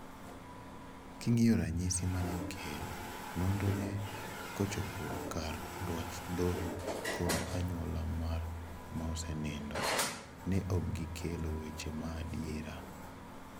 "King'io ranyisi mane okel, nonro ne kochopo kare dwach dodho kod anyuola mar maosenindo. Ne okgikelo weche maadiera.